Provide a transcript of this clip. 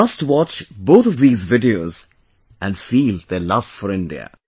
You must watch both of these videos and feel their love for India